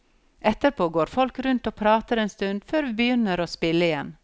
Etterpå går folk rundt og prater en stund før vi begynner å spille igjen.